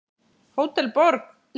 Hótel Borg.